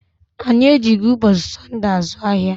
Anyị ejighị ụbọchị Sọnde azụ ahịa.